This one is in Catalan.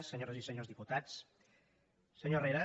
senyores i senyors diputats senyor herrera